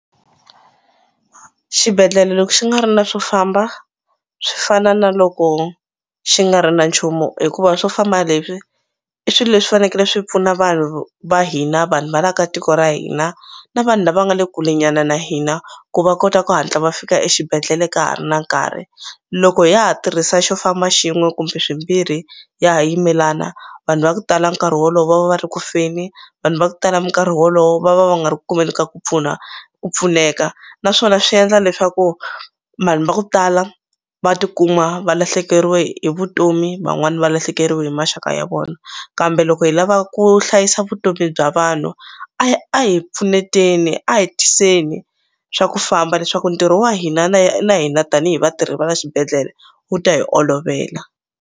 Xibedhlele loko xi nga ri na swo famba swi fana na loko xi nga ri na nchumu hikuva swo famba leswi i swi leswi fanekele swi pfuna vanhu va hina vanhu va la ka tiko ra hina na vanhu lava nga le kule nyana na hina ku va kota ku hatla va fika exibedhlele ka ha ri na nkarhi loko ya ha tirhisa xo famba xin'we kumbe swimbirhi ya ha yimelana vanhu va ku tala nkarhi wolowo va va va ri ku feni vanhu va ku tala minkarhi wolowo va va va nga ri ku kumeni ka ku pfuna ku pfuneka naswona swi endla leswaku vanhu va ku tala va tikuma va lahlekeriwe hi vutomi van'wani va lahlekeriwe hi maxaka ya vona kambe loko hi lava ku hlayisa vutomi bya vanhu a hi pfuneteni a hi tiyeni swa ku famba leswaku ntirho wa hina na hina tanihi vatirhi va la xibedhlele wu ta hi olovela.